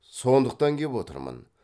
сондықтан кеп отырмын